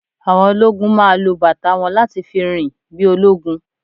Àwọn ológún máa lo bàtà wọn láti fi rìn bí ológun